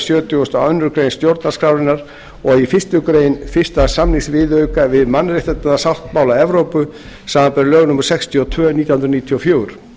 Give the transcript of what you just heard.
sjötugasta og aðra grein stjórnarskrárinnar og fyrstu grein fyrstu samningsviðauka við mannréttindasáttmála evrópu samanber lög númer sextíu og tvö nítján hundruð níutíu og fjögur